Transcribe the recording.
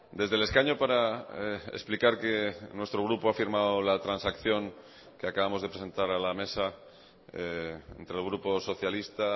desde el escaño para explicar que nuestro grupo ha firmado la transacción que acabamos de presentar a la mesa entre el grupo socialista